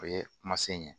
O ye kuma se ɲɛ